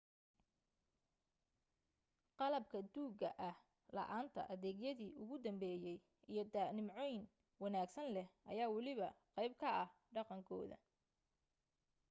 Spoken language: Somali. qalabka duugga ah, la’aanta adeegyadi ugu dambeeyay, iyo da’nimcooyin wanaagsan leh ayaa waliba qayb ka ah dhaqankooda